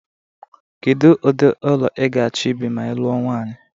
Kedu ụdị ụlọ i ga-achọ ibi ma i lụọ nwanyị?